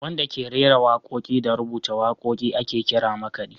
Wanda da ke rera waƙoƙi da rubuta waƙoƙi ake kira makaɗi.